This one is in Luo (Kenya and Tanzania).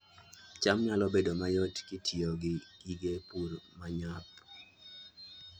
cham nyalo bedo mayot kitiyo gi gige pur ma nyap